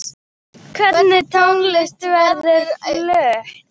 Hvernig tónlist verður flutt?